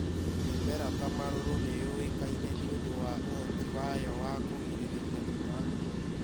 Mĩmera ta marũrũ nĩyũĩkaine nĩ ũndũ wa ũhoti wayo wa kũgirĩrĩria tũtambi .